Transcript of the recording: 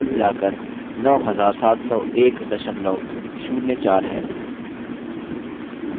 ध्यान दें कि कुल मिलाकर 970104 है